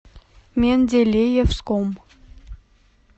менделеевском